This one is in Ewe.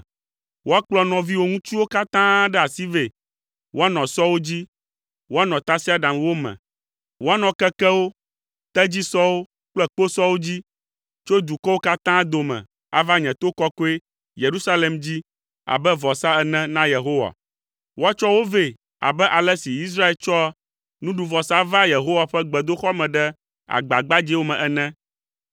Woakplɔ nɔviwò ŋutsuwo katã ɖe asi vɛ, woanɔ sɔwo dzi, woanɔ tasiaɖamwo me, woanɔ kekewo, tedzisɔwo kple kposɔwo dzi, tso dukɔwo katã dome ava nye to kɔkɔe, Yerusalem dzi abe vɔsa ene na Yehowa. Woatsɔ wo vɛ abe ale si Israelviwo tsɔa nuɖuvɔsa vaa Yehowa ƒe gbedoxɔ me ɖe agba gbadzɛwo me ene,